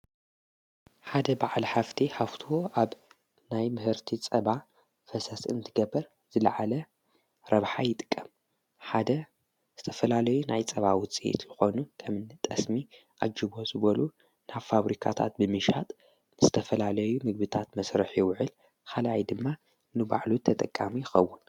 ሓደ በዕል ሃፍቲ ሃፍት ኣብ ናይ ምህርቲ ጸባ ፈሰስእንቲ ገበር ዘለዓለ ረብኃ ኣይጥቀም ሓደ ዝተፈላለዩ ናይ ጸባውፂየት ልኾኑ ከምኒ ጠስሚ ኣጅቦ ዝበሉ ናብ ፋብሪካታት ብሚሻጥ ምስተፈላለዩ ምግብታት መሥርሕ የውዕል ኻልይ ድማ ኖባዕሉ ተጠቃሚ ይኸውን።